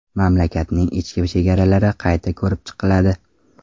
Mamlakatning ichki chegaralari qayta ko‘rib chiqiladi.